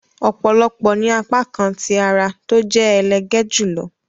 òpòlopò ní apakan tí àrà tó jẹ elege jùlọ